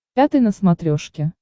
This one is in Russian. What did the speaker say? пятый на смотрешке